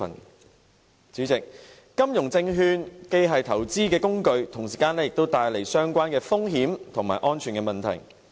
代理主席，金融證券既是投資工具，同時也帶來相關風險和安全問題。